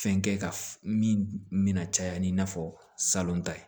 Fɛn kɛ ka mina caya ni i n'a fɔ salon ta ye